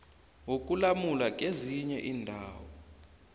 wokulamula kezinye iindaba